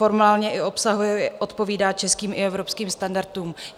Formálně i obsahově odpovídá českým i evropským standardům.